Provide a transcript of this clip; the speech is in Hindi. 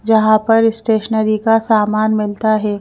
जहां पर स्टेशनरी का सामान मिलता है।